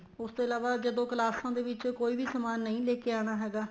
ਉਸ ਤੋਂ ਇਲਾਵਾ ਜਦੋਂ ਕਲਾਸਾਂ ਦੇ ਵਿੱਚ ਕੋਈ ਵੀ ਸਮਾਨ ਨਹੀਂ ਲੈਕੇ ਆਣਾ ਹੈਗਾ